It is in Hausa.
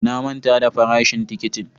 Na manta da farashin tikitin.